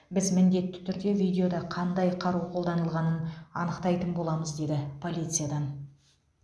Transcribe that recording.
біз міндетті түрде видеода қандай қару қолданылғанын анықтайтын боламыз деді полициядан